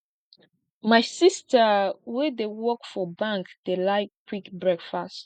my sista wey dey work for bank dey like quick breakfast